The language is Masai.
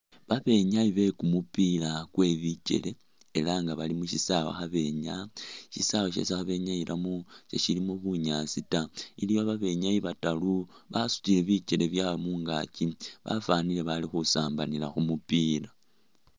Babenyayi be kumupiila kwe bikele ela nga bali mushisawa kha benyaya ,shisawa shesi khabenyayilamo seshilimo bunyaasi taa , iliwo babenyayi bataru basutile bikele byawe mungakyi bafwanile bali khusambanila khumupiila.